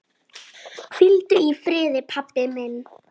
Hvíldu í friði, pabbi minn.